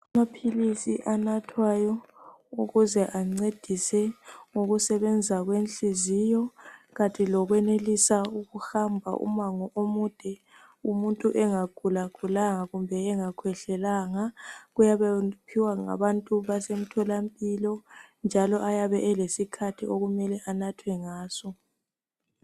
Amaphilisi anathwayo ukuze ancedise ukusebenza kwenhliziyo, kanti lokwenelisa ukuhamba umango omude umuntu engagulagulanga kumbe engakhwehlelanga kuyabe kuphiwa ngabantu basemtholampilo njalo ayabe elesikhathi okumele anathwe ngaso.